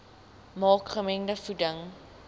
maak gemengde voeding